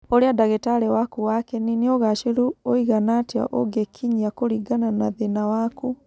Ũrĩa ndagĩtarĩ waku wa kĩni nĩ ũgaacĩru ũigana atĩa ũngĩkinyia kũringana na thĩĩna waku.